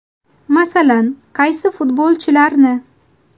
Masalan, qaysi futbolchilarni?